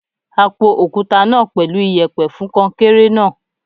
A po òkúta náà pẹ̀lú iyẹ̀pẹ̀ fún kọnkéré náà.